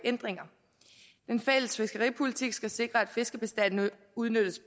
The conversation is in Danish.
ændringer den fælles fiskeripolitik skal sikre at fiskebestanden udnyttes